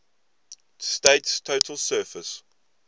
state's total surface